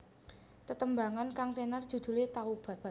Tetembangan kang tenar judulé Taubat